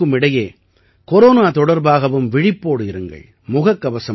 இவை அனைத்திற்கும் இடையே கொரோனா தொடர்பாகவும் விழிப்போடு இருங்கள்